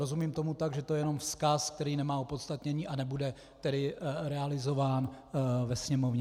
Rozumím tomu tak, že to je jenom vzkaz, který nemá opodstatnění a nebude tedy realizován ve Sněmovně.